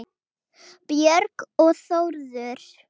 Björg og Þórður.